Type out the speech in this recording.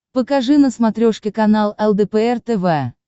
покажи на смотрешке канал лдпр тв